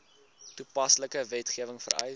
toepaslike wetgewing vereis